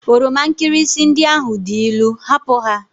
Oroma nkirịsị ndị ahụ dị ilu! hapụ ha!